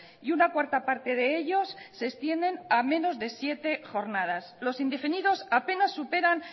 y una cuarta parte de ellos se extienden a menos de siete jornadas los indefinidos apenas superan